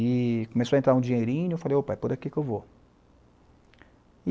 E começou a entrar um dinheirinho, eu falei, opa, é por aqui que eu vou.